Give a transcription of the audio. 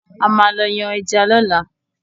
A máa lọ yàn ẹja lóla